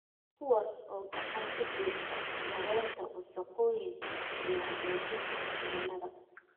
kuwaas oo gacan ka geysta yaraynta wasakhowga iyo hagaajinta cimilada.